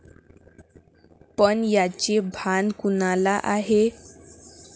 पण याचे भान कुणाला आहे?